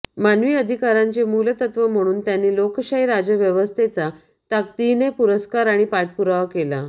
मानवी अधिकारांचे मूलतत्त्व म्हणून त्यांनी लोकशाही राज्यव्यवस्थेचा ताकदीने पुरस्कार आणि पाठपुरावा केला